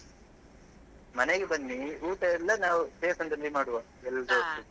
ಮನೆಗೆ ಬನ್ನಿ ಊಟ ಎಲ್ಲ ನಾವು ದೇವಸ್ಥಾನದಲ್ಲಿ ಮಾಡುವ ಎಲ್ಲರು ಒಟ್ಟಿಗೆ.